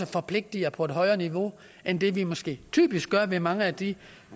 forpligter på et højere niveau end det vi måske typisk gør i mange af de